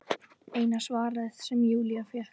Eina svarið sem Júlía fékk.